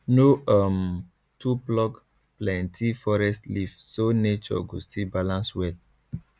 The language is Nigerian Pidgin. no um too pluck plenty forest leaf so nature go still balance well